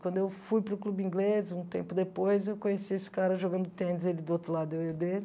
Quando eu fui para o clube inglês, um tempo depois, eu conheci esse cara jogando tênis, ele do outro lado e eu dele.